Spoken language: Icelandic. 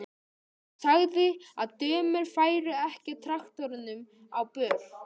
Hún sagði að dömur færu ekki á traktorum á böll.